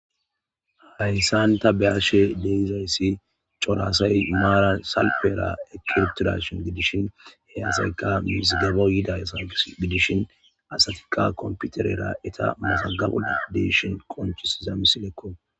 Hayssanta beyashe deizayssi corasay maaran salpera ekyeptidashin gidishin he asayka misgabo yida asa gidishin asatikka komputerera eta masagabu deeshin qonchisiza misilekko